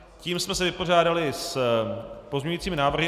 Tím jsme se vypořádali s pozměňujícími návrhy.